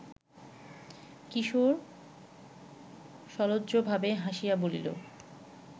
কিশোর সলজ্জভাবে হাসিয়া বলিল